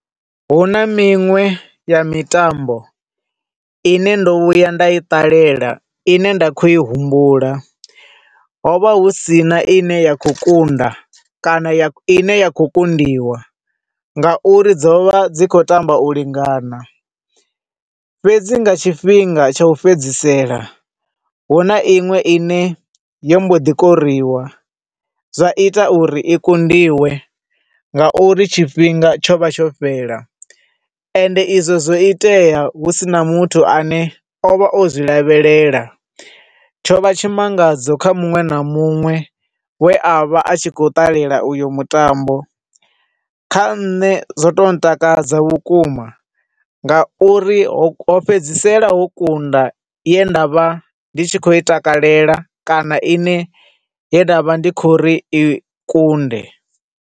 Huna miṅwe ya mitambo ine ndo vhuya nda i ṱalela, ine nda kho i humbula, hovha husina i ne ya khou kunda kana ya, ine ya khou kundiwa, ngauri dzovha dzi khou tamba u lingana. Fhedzi nga tshifhinga tsha u fhedzisela, hu na iṅwe i ne yo mbo ḓi koriwa, zwa ita uri i kundiwe, nga uri tshifhinga tsho vha tsho fhela, ende izwo zwo itea husina muthu a ne ovha o zwi lavhelela. Tsho vha tshimangadzo kha muṅwe na muṅwe we a vha a khou ṱalela uyo mutambo, kha nṋe zwo to takadza vhukuma nga uri ho fhedzisela ho kunda ye ndavha ndi tshi khou i takalela kana ine ye nda vha ndi kho uri i kunde.